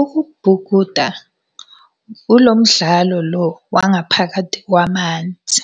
Ukubhukuda ilo mdlalo lo wangaphakathi kwamanzi.